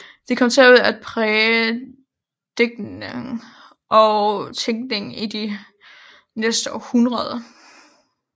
De kom til at præge digtning og tænkning i de næste århundreder